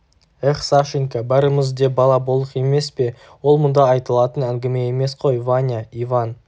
эх сашенька бәріміз де бала болдық емес пе ол мұнда айтылатын әңгіме емес қой ваня иван